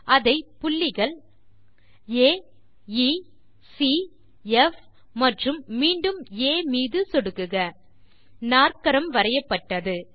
அதை புள்ளிகள் ஆ எ சி ப் மற்றும் மீண்டும் ஆ மீது சொடுக்குக நாற்கரம் வரையப்பட்டது